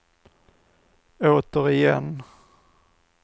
återigen